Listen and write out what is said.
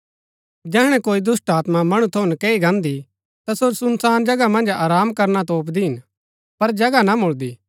जैहणै कोई दुष्‍टात्मा मणु थऊँ नकैई गान्दी ता सो सुनसान जगह मन्ज आराम करणा तोपदी हिन पर जगह ना मुळदी